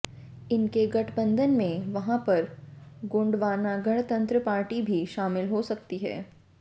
इनके गठबंधन में वहां पर गोंडवाना गणतंत्र पार्टी भी शामिल हो सकती है